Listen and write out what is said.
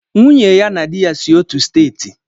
Nwunye ya na di ya si otu steeti.